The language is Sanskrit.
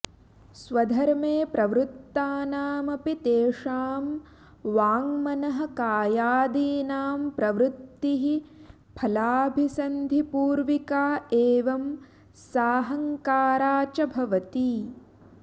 स्वधर्मे प्रवृत्तानामपि तेषां वाडमनः कायादीनां प्रवृत्तिः फलाभिसन्धिपूर्विका एवं साहङ्कारा च भवति